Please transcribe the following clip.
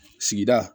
Sigida